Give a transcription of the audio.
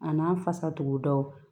A n'a fasatugudaw